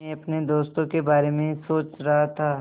मैं अपने दोस्तों के बारे में सोच रहा था